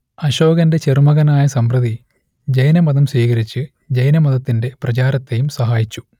അശോകന്റെ ചെറുമകനായ സമ്പ്രതി ജൈനമതം സ്വീകരിച്ച് ജൈനമതത്തിന്റെ പ്രചാരത്തേയും സഹായിച്ചു